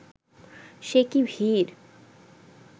সে কী ভিড়